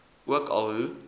ook al hoe